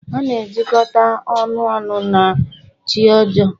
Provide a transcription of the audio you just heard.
A na-ejikọta ọnụ ọnụ na chi ọjọọ.